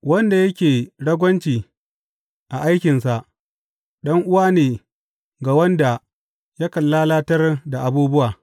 Wanda yake ragwanci a aikinsa ɗan’uwa ne ga wanda yakan lalatar da abubuwa.